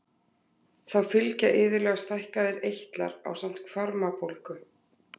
Þá fylgja iðulega stækkaðir eitlar ásamt hvarmabólgu.